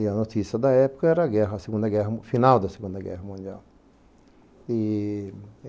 E a notícia da época era a guerra, a Segunda Guerra Mundial, o final da Segunda Guerra Mundial. E